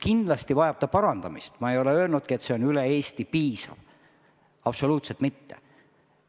Kindlasti tuleb seda parandada, ma ei ole öelnudki, et see on üle Eesti piisav, absoluutselt mitte.